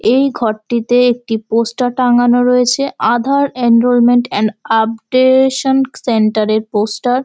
এই ঘরটিতে একটি পোস্টার টাঙানো রয়েছে Aadhaar enrolment and updation centre এর পোস্টার ।